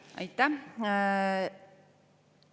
Aitäh!